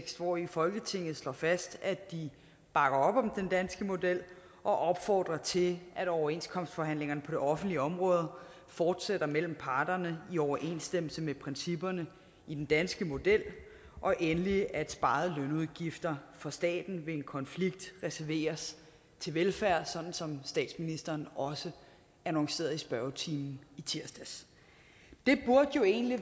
hvori folketinget slår fast at de bakker op om den danske model og opfordrer til at overenskomstforhandlingerne på det offentlige område fortsætter mellem parterne i overensstemmelse med principperne i den danske model og endelig at sparede lønudgifter for staten ved en konflikt reserveres til velfærd sådan som statsministeren også annoncerede i spørgetimen i tirsdags det burde jo egentlig